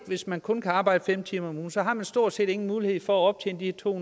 hvis man kun kan arbejde fem timer om ugen så har man stort set ingen mulighed for at optjene de to